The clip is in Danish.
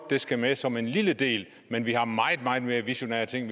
det skal med som en lille del men vi har meget meget mere visionære ting